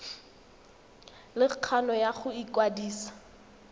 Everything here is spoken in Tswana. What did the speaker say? le kgano ya go ikwadisa